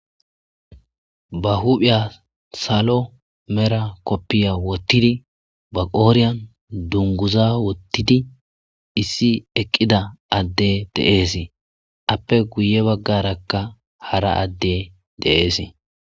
ba huphiya salo mera koppiya wottidi baqooriyan dunguza wottidi issi eqqida adde de'ees appe guye baggarakka hara adde de'es